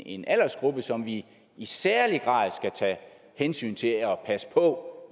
en aldersgruppe som vi i særlig grad skal tage hensyn til og passe på